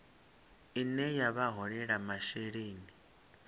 ine ya vha holela masheleni